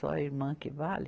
Só a irmã que vale.